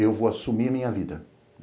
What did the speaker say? Eu vou assumir a minha vida.